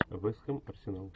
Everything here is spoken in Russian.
вест хэм арсенал